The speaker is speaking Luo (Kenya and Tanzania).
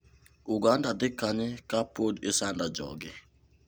Uganda dhi kanye ka pod isando joge?